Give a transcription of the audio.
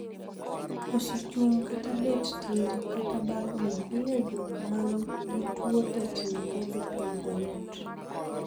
Koso chung' kata bet tir, kata bagni, miyo jok man gi tuo tetni podho piny mayot.